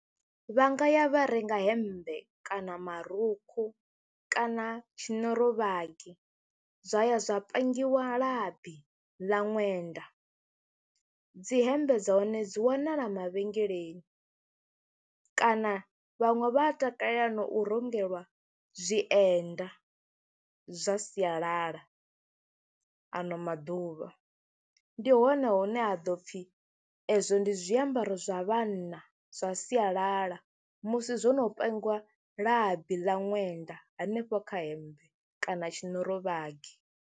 Vha nga ya vha renga hemmbe kana marukhu kana tshinorovhagi zwa ya zwa pangiwa labi ḽa ṅwenda. Dzi hembe dza hone dzi wanala mavhengeleni kana vhaṅwe vha a takalela na u rengelwa zwienda zwa sialala, ano maḓuvha. Ndi hone hune ha ḓo pfhi ezwo ndi zwiambaro zwa vhanna zwa sialala musi zwo no pangiwa labi ḽa ṅwenda hanefho kha hemmbe kana tshinorovhagi.